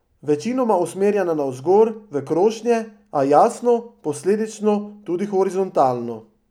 Večinoma usmerjena navzgor, v krošnje, a, jasno, posledično, tudi horizontalno.